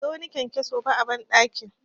Ban ga wani kyankyaso ba a banɗakin.